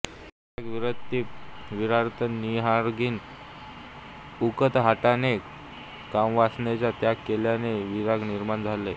विराग विरक्तीपरिवर्तनरागहिन उकताहटाने कामवासनेचा त्याग केल्याने विराग निर्माण होतो